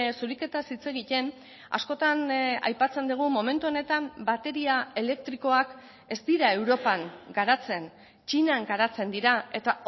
zuriketaz hitz egiten askotan aipatzen dugu momentu honetan bateria elektrikoak ez dira europan garatzen txinan garatzen dira eta